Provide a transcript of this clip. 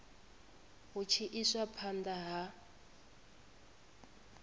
hu tshi iswa phanda ha